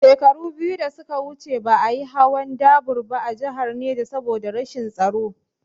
Shekaru biyu da suka wuce ba a yi hawan dubar ba a jihar Neja saboda rashin tsaro